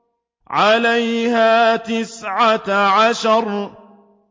عَلَيْهَا تِسْعَةَ عَشَرَ